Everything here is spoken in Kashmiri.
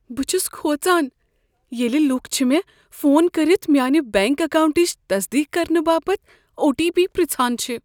بہٕ چھس کھوژان ییٚلہ لوٗکھ چھ مےٚ فون کٔرتھ میٛانہ بنٛک اکاونٛٹٕچ تصدیٖق کرنہٕ باپتھ او ٹی پی پرٛژھان چھِ ۔